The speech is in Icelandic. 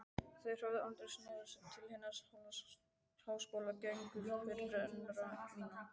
Þeir höfðu aldrei snúið sér til hinna háskólagengnu fyrirrennara minna.